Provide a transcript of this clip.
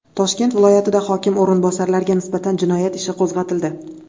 Toshkent viloyatida hokim o‘rinbosariga nisbatan jinoyat ishi qo‘zg‘atildi.